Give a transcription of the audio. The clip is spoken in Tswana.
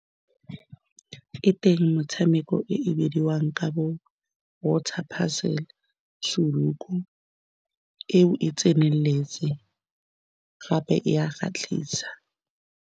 E teng motshameko e e bidiwang ka bo Water Puzzle, Sudoku eo e tseneletse gape e a go kgatlisa.